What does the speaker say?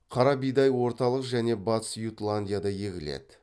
қара бидай орталық және батыс ютландияда егіледі